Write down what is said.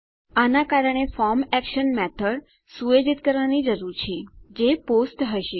આના કારણે form action method સુયોજિત કરવાની જરૂર છે જે પોસ્ટ હશે